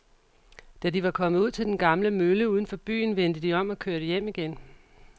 Da de var kommet ud til den gamle mølle uden for byen, vendte de om og kørte hjem igen.